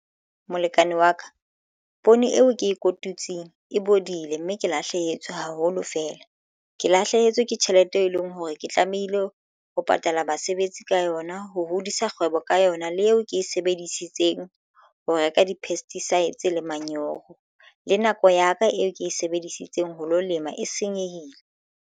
Molekane wa ka poone eo ke e kotutseng e bodile, mme ke lahlehetswe haholo feela. Ke lahlehetswe ke tjhelete e leng hore ke tlamehile ho patala basebetsi ka yona ho hodisa kgwebo ka yona le eo ke e sebedisitseng ho reka di-pesticides le manyoho le nako ya ka eo ke e sebedisitseng ho lo lema e senyehile.